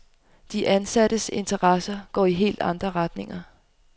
De ansattes interesser går i helt andre retninger.